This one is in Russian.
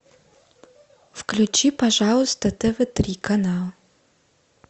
включи пожалуйста тв три канал